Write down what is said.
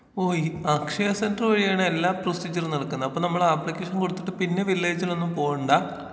ഓ ഈ അക്ഷയ സെന്റർ വഴിയാണ് എല്ലാ പ്രൊസീജറും നടക്കുന്നത് അപ്പോ നമ്മള് അപ്ലിക്കേഷൻ കൊടുത്തിട്ട് പിന്നെ വില്ലേജിലൊന്നും പോകണ്ടാ.